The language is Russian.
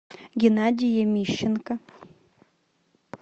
геннадий ямищенко